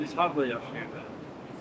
Siz haqlı yaşayırsınız.